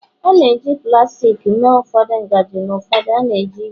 a na-eji plastik mee ụfọdụ ngaji na ụfọdụ na-eji ígwè